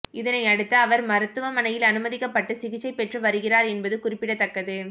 இதனையடுத்து அவர் மருத்துவமனையில் அனுமதிக்கப்பட்டு சிகிச்சை பெற்று வருகிறார் என்பது குறிப்பிடத்தக்கது